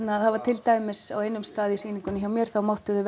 það var til dæmis á einum stað í sýningunni hjá mér þá máttu þau